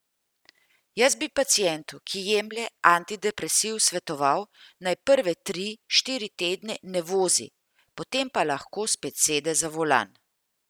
Jaz bi pacientu, ki jemlje antidepresiv, svetoval, naj prve tri, štiri tedne ne vozi, potem pa lahko spet sede za volan.